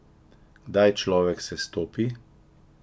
Kdaj človek sestopi?